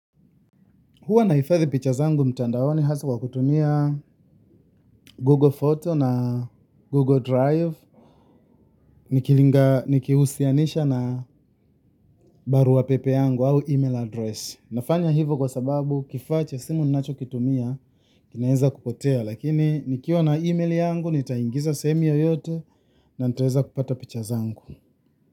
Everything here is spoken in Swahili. Huwa nahifadhi picha zangu mtandaoni haswa kutumia Google photos na Google drive nikilinga, nikihusianisha na barua pepe yangu au email address. Nafanya hivyo kwa sababu kifaa cha simu ninacho kitumia, kinaweza kupotea. Lakini nikiwa na email yangu, nitaingiza sehemu yeyote na nitaweza kupata picha zangu.